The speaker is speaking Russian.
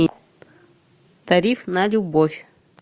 тариф на любовь